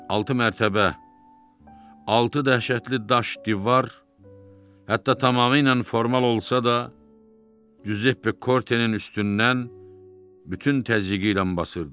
Altı mərtəbə, altı dəhşətli daş divar, hətta tamamilə formal olsa da, Cüzeppe Kortenin üstündən bütün təzyiqiylə basırdı.